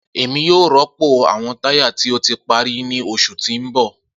Emi yoo rọpo awọn taya ti o ti pari ni oṣu ti n bọ.